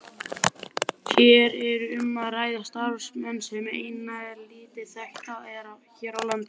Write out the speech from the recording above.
Hér er um að ræða starfsemi sem enn er lítt þekkt hér á landi.